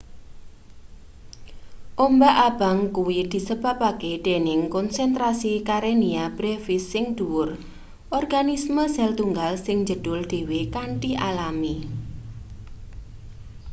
ombak abang kuwi disebabke dening konsentrasi karenia brevis sing dhuwur organisme sel-tunggal sing njedhul dhewe kanthi alami